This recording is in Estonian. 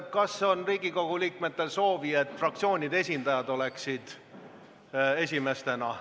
Kas Riigikogu liikmetel on soovi, et fraktsioonide esindajad oleksid esimesed?